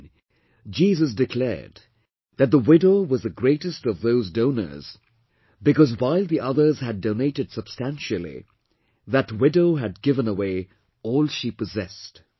Then, Jesus declared that the widow was the greatest of those donors because while the others had donated substantially, that widow had given away all she possessed